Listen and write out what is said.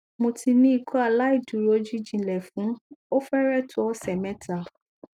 mo ti ni ikọaláìdúró jijinlẹ fun o fẹrẹ to ọsẹ mẹta